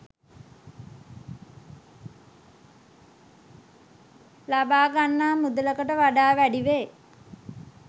ලබාගන්නා මුදලකට වඩා වැඩිවේ.